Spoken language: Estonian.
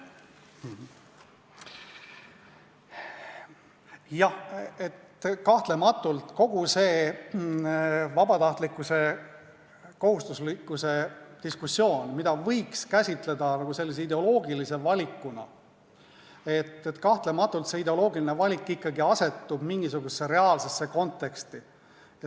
Jah, kahtlemata kogu see vabatahtlikkuse-kohustuslikkuse diskussioon, mida võiks käsitleda ideoloogilise valikuna, asetub ideoloogilise valikuna ikkagi mingisugusesse reaalsesse konteksti.